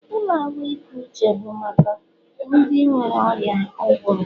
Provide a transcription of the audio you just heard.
Ụlọ ahụike uche bụ maka ndị nwere ọrịa ụbụrụ